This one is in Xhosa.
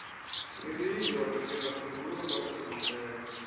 eliyindoda lingamphengulula obhinqileyo